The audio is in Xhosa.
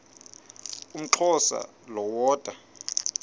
umxhosa lo woda